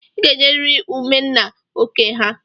I ga-enyeriri ụmụ nna oké ha!